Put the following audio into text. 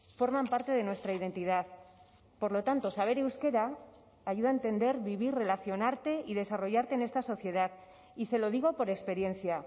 forman parte de nuestra identidad por lo tanto saber euskera ayuda a entender vivir relacionarte y desarrollarte en esta sociedad y se lo digo por experiencia